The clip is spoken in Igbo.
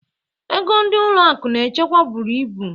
Ego ndị ụlọ akụ na-echekwa buru ibu